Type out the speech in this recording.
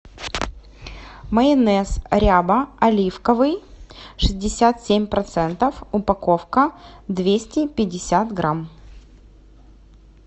майонез ряба оливковый шестьдесят семь процентов упаковка двести пятьдесят грамм